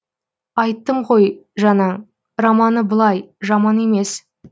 айттым ғой жаңа романы былай жаман емес